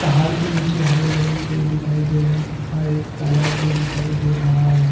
पहाड़ के नीचे हरे भरे खेत दिखाई दे रहे हैं तथा एक तालाब भी दिखाई दे रहा है।